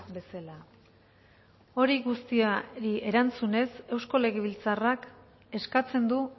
bezala hori guztiari erantzunez eusko legebiltzarrak eskatzen du